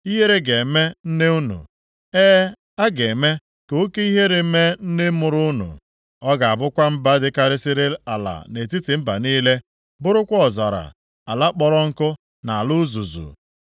Ihere ga-eme nne unu, e, a ga-eme ka oke ihere mee nne mụrụ unu. Ọ ga-abụkwa mba dịkarịsịrị ala nʼetiti mba niile, bụrụkwa ọzara, ala kpọrọ nkụ na ala uzuzu.